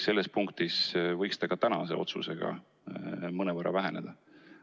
Selles punktis võiks see ka tänase otsusega mõnevõrra väheneda.